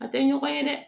A tɛ ɲɔgɔn ye dɛ